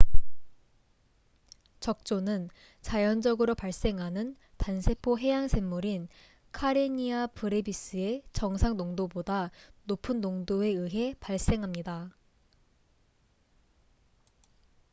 적조는 자연적으로 발생하는 단세포 해양생물인 카레니아 브레비스의 정상 농도보다 높은 농도에 의해 발생합니다